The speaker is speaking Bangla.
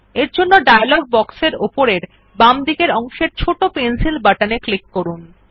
এরজন্য ডায়লগ বক্স এর উপরের বাঁদিকের অংশের ছোট পেন্সিল বাটন এ ক্লিক করুন